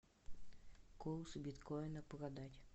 курс биткоина продать